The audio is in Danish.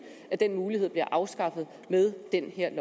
at den mulighed bliver afskaffet med det her